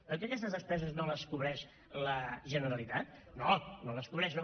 oi que aquestes despeses no les cobreix la generalitat no no les cobreix no